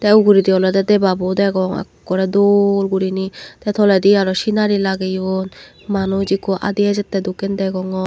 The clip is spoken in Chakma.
te uguredi olode debabo ekkore dol gurine te toledi aro sinari lageyon manuch ekko adi ejette degongor.